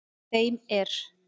Þeim er